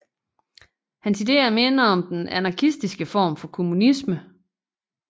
Hans ideer minder om den anarkistiske form for kommunisme